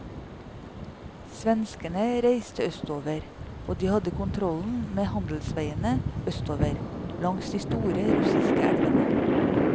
Svenskene reiste østover, og de hadde kontrollen med handelsveiene østover, langs de store russiske elvene.